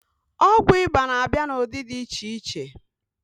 Ọgwụ ịba na-abịa n'ụdị dị iche iche